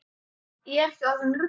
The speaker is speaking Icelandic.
Ég er ekki orðin rugluð.